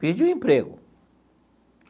Perdi um emprego.